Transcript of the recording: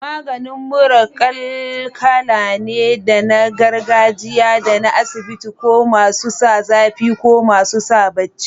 Maganin mura kal kala ne, da na gargajiya da na asibiti, ko masu sa zafi ko masu sa baci.